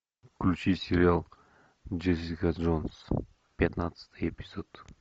включи сериал джессика джонс пятнадцатый эпизод